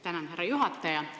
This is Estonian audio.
Tänan, härra juhataja!